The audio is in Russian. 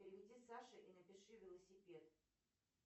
переведи саше и напиши велосипед